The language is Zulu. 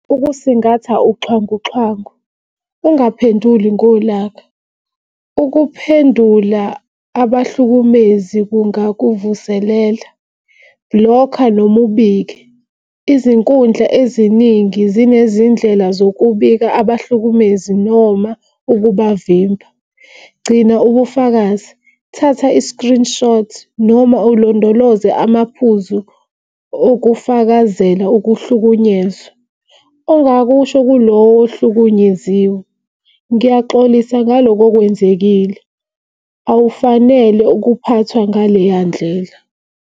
Ukusingatha uxhwanguxhwangu, ungaphenduli ngolaka. Ukuphendula abahlukumezi kungakuvuselela bhulokha noma ubike. Izinkundla eziningi zinezindlela zokubika abahlukumezi noma ukubavimba. Gcina ubufakazi, thatha i-screenshot noma ulondoloze amaphuzu okufakazela ukuhlukunyezwa. Ongakusho kulowo ohlukunyeziwe, ngiyaxolisa ngaloko okwenzekile awufanele ukuphathwa ngaleya ndlela.